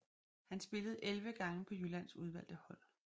Han spillede 11 gange på Jyllands udvalgte hold